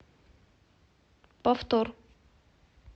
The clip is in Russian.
повтор